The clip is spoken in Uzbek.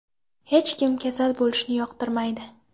Hech kim kasal bo‘lishni yoqtirmaydi.